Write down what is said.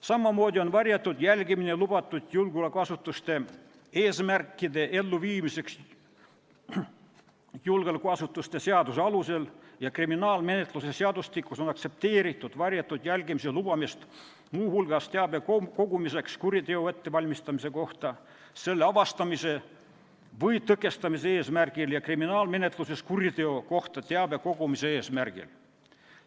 Samamoodi on varjatud jälgimine lubatud julgeolekuasutuste eesmärkide elluviimiseks julgeolekuasutuste seaduse alusel ja kriminaalmenetluse seadustikus on varjatud jälgimine aktsepteeritud muu hulgas teabe kogumiseks kuriteo ettevalmistamise kohta, selle avastamise või tõkestamise eesmärgil ja kriminaalmenetluses kuriteo kohta teabe kogumise eesmärgil.